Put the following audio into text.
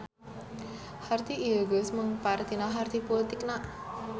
Harti ieu geus mengpar tina harti pulitikna.